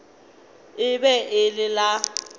e be e le la